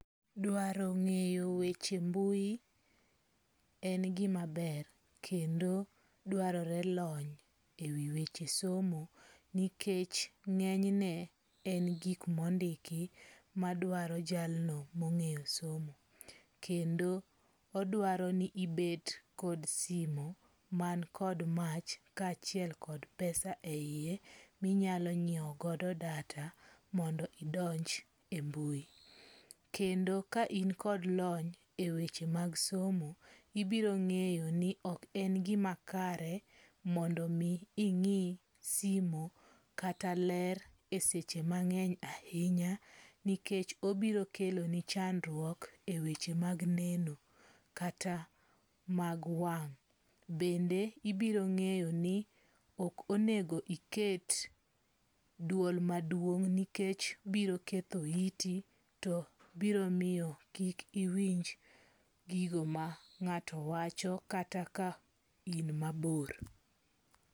Dwaro nge'yo weche mbui, en gimaber kendo dwarore lony e wi weche somo nikech nge'ne en gik mondiki madwaro jalno monge'yo somo, kendo odwaro ni ibet kod simu man kod mach kachiek kod pesa e hiye minyalo nyiewogo data mondo idonj e mbui, kendo ka in kod lony e weche mag somo ibirongeyo ni ok en gimakare mondo mi ingi' simu kata ler e seche mange'ny ahinya ni kech obiro keloni chandruok e weche mag neno kata mag wang,' bende ibironge'yo ni ok onego iket duol maduong' nikech biro ketho iti to biro miyo kik iwinj gigo ma nga'to wacho kata ka in mabor